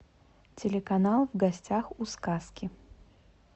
телеканал в гостях у сказки